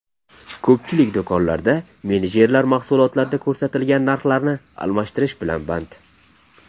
Ko‘pchilik do‘konlarda menejerlar mahsulotlarda ko‘rsatilgan narxlarni almashtirish bilan band.